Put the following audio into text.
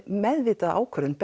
meðvitaða ákvörðun